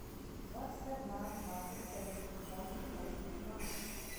двадцать одна двадцать корейских вон в китайских юанях